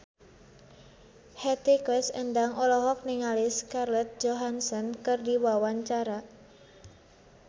Hetty Koes Endang olohok ningali Scarlett Johansson keur diwawancara